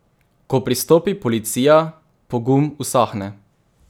Ko pristopi policija, pogum usahne.